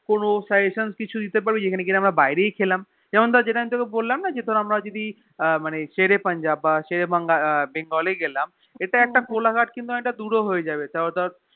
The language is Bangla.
কোনো Suggestion কিছু দিতে পারবি যে যেখানে ধরে আমরা বাইরে গিয়েই খেললাম যেমন ধরে তোকে আমরা বললাম না যে আমার দিদি সেরে পাঞ্জাব বা সেরে বেঙ্গল এ গেলাম ইটা ইটা একটা কোলা ঘাট কিন্তু দূর ও হয়ে যাবে তও ধরে